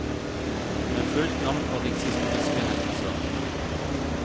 Med fullt navn og rikshistoriske hendelser.